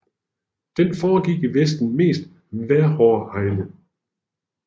Den foregik i verdens mest vejrhårde egne